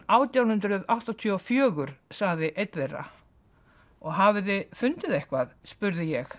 átján hundruð áttatíu og fjögur sagði einn þeirra og hafið þið fundið eitthvað spurði ég